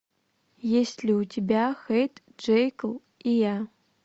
есть ли у тебя хайд джекил и я